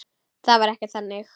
Það var ekkert þannig.